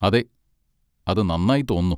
അതെ, അത് നന്നായി തോന്നുന്നു.